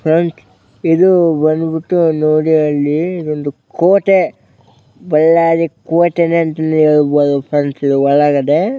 friends ಇದು ಬಂದ್ಬಿಟ್ಟು ನೋಡಿ ಅಲ್ಲಿ ಒಂದು ಕೋಟೆ ಬಳ್ಳಾರಿ ಕೋಟೆನೆ ಅಂತ ಹೇಳ್ಬಹುದು ಫ್ರೆಂಡ್ಸ್ ಇದು ಒಳಗಡೆ --